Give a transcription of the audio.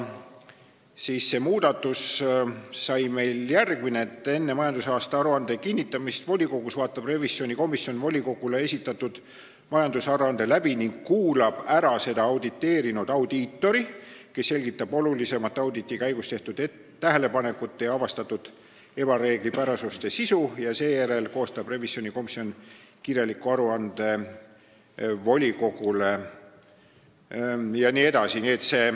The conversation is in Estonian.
See muudatus sai meil järgmine: enne majandusaasta aruande kinnitamist volikogus vaatab revisjonikomisjon volikogule esitatud majandusaruande läbi ning kuulab ära seda auditeerinud audiitori, kes selgitab olulisemate auditi käigus tehtud tähelepanekute ja avastatud ebareeglipärasuste sisu, seejärel koostab revisjonikomisjon kirjaliku aruande volikogule jne.